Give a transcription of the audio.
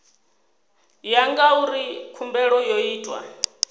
ya ngauri khumbelo yo itwa